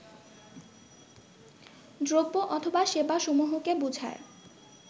দ্রব্য অথবা সেবাসমূহকে বোঝায়